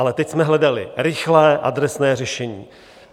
Ale teď jsme hledali rychlé adresné řešení.